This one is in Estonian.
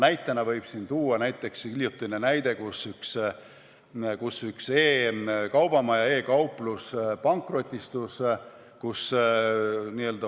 Näitena võib tuua hiljutise juhtumi, kus üks e-kaubamaja, e-kauplus pankrotistus.